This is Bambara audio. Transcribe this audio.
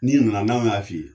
N'i nana n'anw y'a f'i ye,